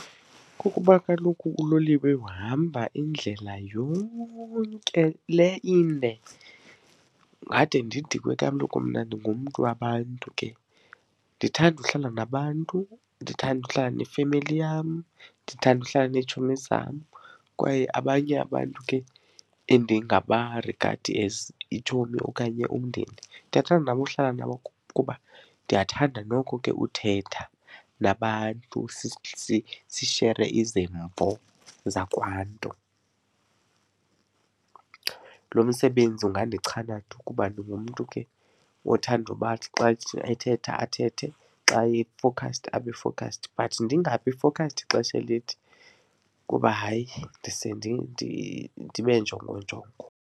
Kukuba kaloku uloliwe uhamba indlela yonke le inde, ungade ndidikwe kaloku mna ndingumntu wabantu ke. Ndithanda uhlala nabantu, ndithanda uhlala nefemeli yam, ndithanda uhlala neetshomi zam kwaye abanye abantu ke endingabarigadi as iitshomi okanye umndeni. Ndiyathanda nabo uhlala nabo kuba ndiyathanda noko ke uthetha nabantu sishere izimvo zakwaNtu. Lo msebenzi ungandichana ke kuba ndingumntu ke othanda uba athi xa ethetha athethe, xa e-focused abe-focused, but ndingabi focused ixesha elide kuba hayi, ndise ndibe njongonjongo.